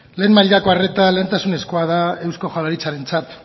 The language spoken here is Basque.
lehen mailako arreta lehentasunezkoa da eusko jaurlaritzarentzat